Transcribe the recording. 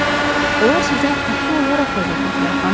Onlar sizə haqlı olaraq qəzəblidirlər, xanım.